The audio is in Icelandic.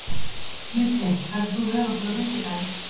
Mikkel, ferð þú með okkur á fimmtudaginn?